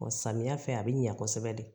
Ɔ samiyɛ fɛ a bɛ ɲa kosɛbɛ de